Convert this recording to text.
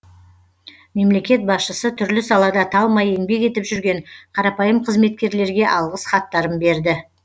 мемлекет басшысы түрлі салада талмай еңбек етіп жүрген қарапайым қызметкерлерге алғыс хаттарын берді